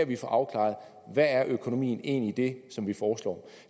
vi får afklaret hvad økonomien egentlig det som vi foreslår